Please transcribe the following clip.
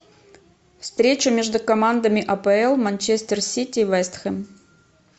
встреча между командами апл манчестер сити и вест хэм